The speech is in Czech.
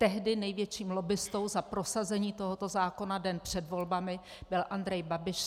Tehdy největším lobbistou za prosazení tohoto zákona den před volbami byl Andrej Babiš.